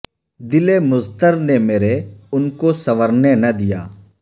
دل مضطر نے مرے ان کو سنورنے نہ دیا